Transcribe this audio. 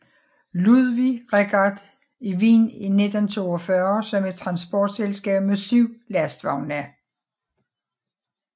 Ludwig Richard i Wien i 1942 som et transportselskab med syv lastvogne